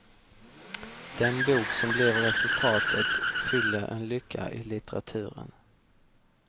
Den bok som blev resultatet fyller en lucka i litteraturen.